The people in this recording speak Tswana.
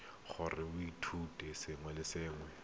o tla e sekaseka go